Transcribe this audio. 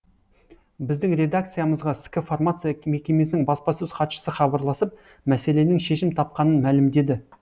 біздің редакциямызға ск фармация мекемесінің баспасөз хатшысы хабарласып мәселенің шешім тапқанын мәлімдеді